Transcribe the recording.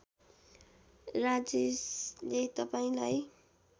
राजेशले तपाईँलाई